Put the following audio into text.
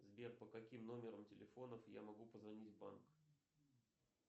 сбер по каким номерам телефонов я могу позвонить в банк